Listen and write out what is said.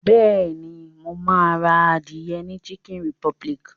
Bẹ́ẹ̀ni, mo ma ra adìẹ ni chicken republic